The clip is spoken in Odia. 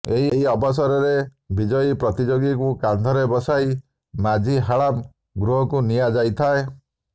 ଏହି ଅବସରରେ ବିଜୟୀ ପ୍ରତିଯୋଗୀଙ୍କୁ କାନ୍ଧରେ ବସାଇ ମାଝୀ ହାଳାମ୍ ଗୃହକୁ ନିଆଯାଇଥାଏ